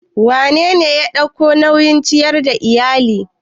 Wanene yake ɗaukan nauyin ciyar da iyali?